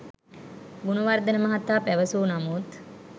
ගුණවර්ධන මහතා පැවසූ නමුත්